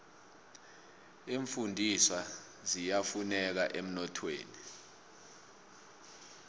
iimfundiswa ziyafuneka emnothweni